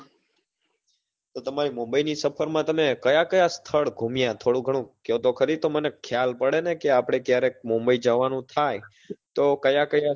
તો તમારી મુંબઈ ની સફર માં તમે કયા કયા સ્થળ ગુમ્યા થોડું ઘણું કયો તો ખરી તો મને ખ્યાલ પડે ને કે આપડે ક્યારેક મુંબઈ જવાનું થાય તો કયા કયા